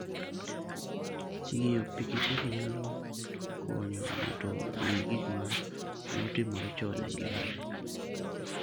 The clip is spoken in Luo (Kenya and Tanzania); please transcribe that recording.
Ng'iyo pikipiki nyalo konyo ng'ato ng'eyo gik ma ne otimore chon e ngimane.